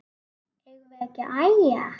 Eigum við ekki að æja?